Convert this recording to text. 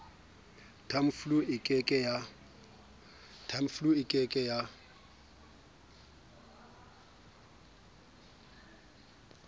tamiflu e ke ke ya